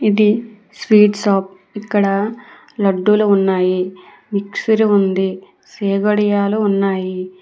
ఇది sweet shop ఇక్కడ లడ్డూలు ఉన్నాయి మిక్సర్ ఉంది చెకోడీయాలు ఉన్నాయి.